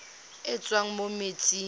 e e tswang mo metsing